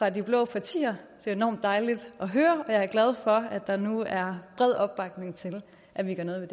af de blå partier det er enormt dejligt at høre og jeg er glad for at der nu er bred opbakning til at vi gør noget